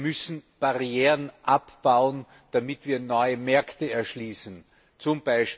Wir müssen Barrieren abbauen, damit wir neue Märkte erschließen, z.